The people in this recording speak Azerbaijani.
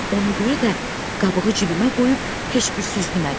Ona görə də qabığı cibimə qoyub heç bir söz demədim.